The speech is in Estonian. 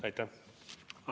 Aitäh!